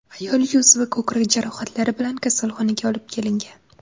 Ayol yuz va ko‘krak jarohatlari bilan kasalxonaga olib kelingan.